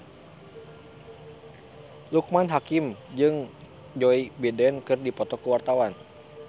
Loekman Hakim jeung Joe Biden keur dipoto ku wartawan